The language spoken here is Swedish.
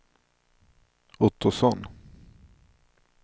Ottosson